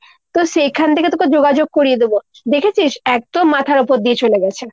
তো সেইখান থেকে তোকে যোগাযোগ করিয়ে দেব। দেখেছিস একদম মাথার ওপর দিয়ে চলেগেছে।